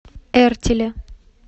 эртиле